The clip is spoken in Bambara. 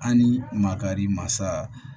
An ni makari masa